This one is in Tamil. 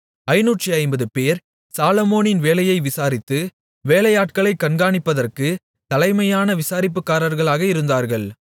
550 பேர் சாலொமோனின் வேலையை விசாரித்து வேலையாட்களைக் கண்காணிப்பதற்குத் தலைமையான விசாரிப்புக்காரர்களாக இருந்தார்கள்